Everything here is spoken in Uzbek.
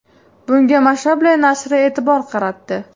Bunga Mashable nashri e’tibor qaratdi .